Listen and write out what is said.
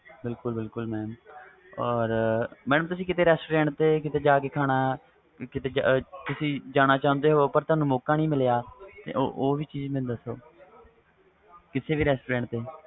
ਬਿਲਕੁਲ ਬਿਲਕੁਲ madam ਤੁਸੀ restaurants ਤੇ ਕੀਤੇ ਜਾ ਕੇ ਖਾਣਾ ਕੀਤੇ ਜਾਣਾ ਚਾਹੁੰਦੇ ਹੂ ਤੁਹਾਨੂੰ ਮੌਕਾ ਨਹੀਂ ਮਿਲਿਆ ਉਹ ਵੀ ਚੀਜ਼ ਦਸੋ ਕਿਸੇ ਵੀ restaurants ਤੇ